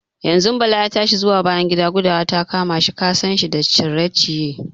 Yanzun Bala ya tashi zuwa bayan gida, gudawa ta kama shi, kasan shi da cire-ciye.